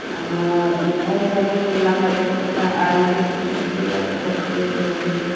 ama salum mannga tai chonglah almari loe ngan taiga gatok to joley taiga.